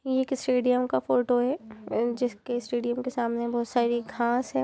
एक स्टेडियम का फोटो है जिसके स्टेडियम के सामने बहुत सारी घास है।